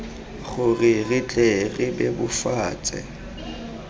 gore re tle re bebofatse